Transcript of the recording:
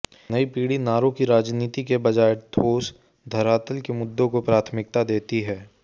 नयी पीढ़ी नारों की राजनीति के बजाय ठोस धरातल के मुद्दों को प्राथमिकता देती है